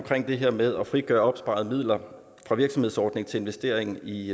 det her med at frigøre opsparede midler fra virksomhedsordningen til investering i